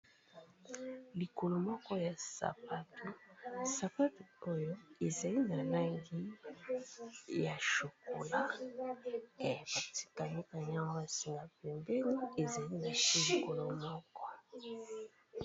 Likolo moko ya sapatu, sapatu oyo ezali na langi ya chocolat ba kangi kangi ya go ba singa pembeni ezali na se likolo moko.